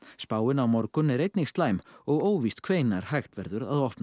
spáin á morgun er einnig slæm og óvíst hvenær hægt verður að opna